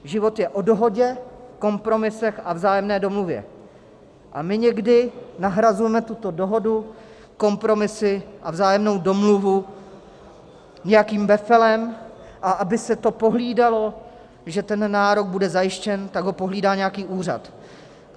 Život je o dohodě, kompromisech a vzájemné domluvě a my někdy nahrazujeme tuto dohodu kompromisy a vzájemnou domluvu nějakým befelem, a aby se to pohlídalo, že ten nárok bude zajištěn, tak ho pohlídá nějaký úřad.